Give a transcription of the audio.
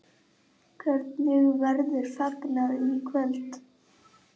Hvernig verður fagnað í kvöld?